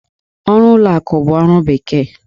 Ọrụ ụlọ akụ bụ ọrụ bekee.